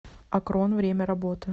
акрон время работы